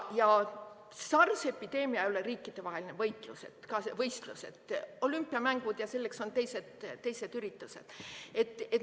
SARS-i epideemia ei ole riikidevaheline võistlus, selleks on olümpiamängud ja teised üritused.